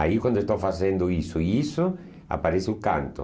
Aí, quando estou fazendo isso e isso, aparece o canto.